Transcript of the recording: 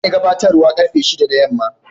Zan yi gabatarwa karfe shida da yamma.